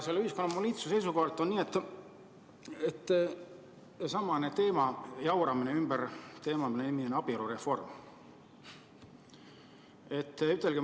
Selle ühiskonna monoliitsuse seisukohalt selle teema, mille nimi on abielureform, ümber jauramine.